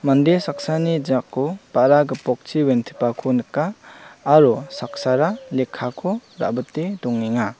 mande saksani jako ba·ra gipokchi wentipako nika aro saksara lekkako ra·bite dongenga.